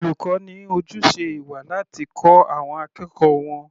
Olùkọ́ ní ojúṣe ìwà láti kọ́ àwọn akẹ́kọ̀ọ́ wọn.